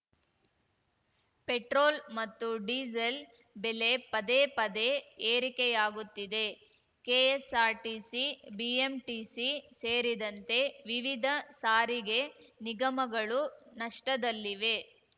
petrol ಮತ್ತು diesel ಬೆಲೆ ಪದೇ ಪದೇ ಏರಿಕೆಯಾಗುತ್ತಿದೆ ಕೆಎಸ್ಸಾರ್ಟಿಸಿ ಬಿಎಂಟಿಸಿ ಸೇರಿದಂತೆ ವಿವಿಧ ಸಾರಿಗೆ ನಿಗಮಗಳು ನಷ್ಟದಲ್ಲಿವೆ